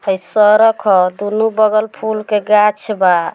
है सरक ह दोनू बगल फूल के गाछ बा।